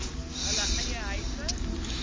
hulle eie huise